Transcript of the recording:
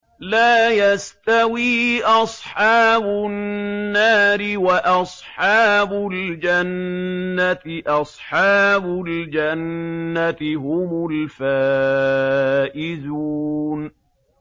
لَا يَسْتَوِي أَصْحَابُ النَّارِ وَأَصْحَابُ الْجَنَّةِ ۚ أَصْحَابُ الْجَنَّةِ هُمُ الْفَائِزُونَ